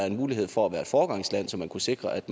en mulighed for at være et foregangsland så man kunne sikre at